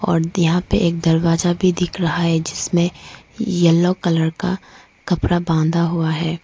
और यहां पे दरवाजा भी दिख रहा है जिसमें येलो कलर का कपड़ा बांधा हुआ है।